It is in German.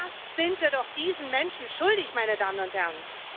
Das sind wir doch diesen Menschen schuldig, meine Damen und Herren.